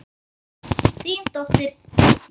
Þín dóttir, Birna.